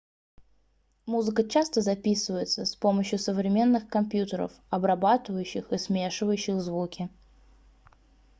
музыка часто записывается с помощью современных компьютеров обрабатывающих и смешивающих звуки